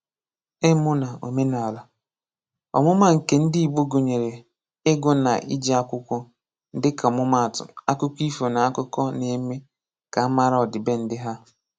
Ịmụ na omenala: Ọmụma nke ndị Igbo gụnyere ịgụ na iji akwụkwọ, dịka ọmụma atụ, akụkọ ifo na akụkọ n'eme ka a mara ọdịbendị ha.